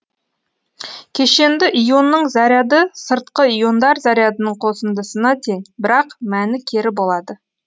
кешенді ионның заряды сыртқы иондар зарядының қосындысына тең бірақ мәні кері болады